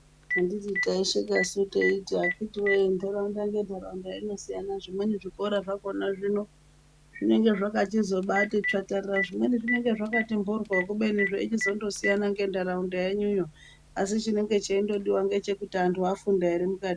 Anditi taishekasu tichiti akiti wee ntaraunda ngentaraunda inosiyana zvimweni zvikora zvakhona hino zvinenge zvakati tsvatsvarara zvimweni zvinenge zVakati mporwo kubeni zveichizondosiyana nentaraunda yenyuyoasi chinenge cheingodiwa ngechekuti antu afunda ere muka.....